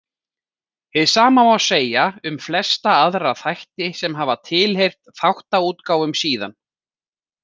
Hið sama má segja um flesta aðra þætti sem hafa tilheyrt þáttaútgáfum síðan.